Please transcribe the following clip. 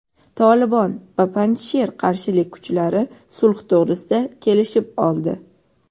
"Tolibon" va Panjsher qarshilik kuchlari sulh to‘g‘risida kelishib oldi.